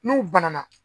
N'u banana